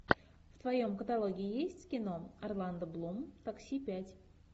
в твоем каталоге есть кино орландо блум такси пять